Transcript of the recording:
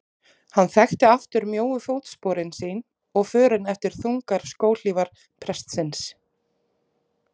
Hann þekkti aftur mjóu fótsporin sín og förin eftir þungar skóhlífar prestsins.